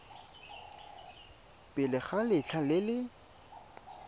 pele ga letlha le le